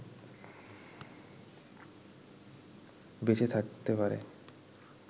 বেঁচে থাকতে পারে